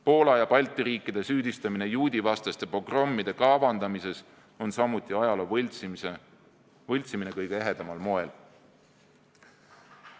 Poola ja Balti riikide süüdistamine juudivastaste pogrommide kavandamises on samuti ajaloo võltsimine kõige ehedamal moel.